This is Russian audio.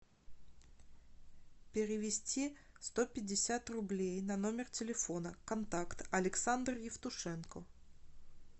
перевести сто пятьдесят рублей на номер телефона контакт александр евтушенко